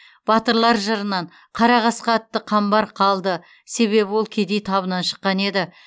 батырлар жырынан қара қасқа атты қамбар қалды себебі ол кедей табынан шыққан еді